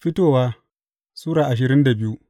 Fitowa Sura ashirin da biyu